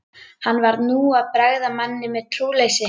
Hann var nú að bregða manni um trúleysi.